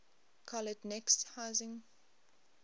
collet neck sizing